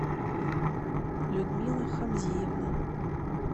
людмила хамзиевна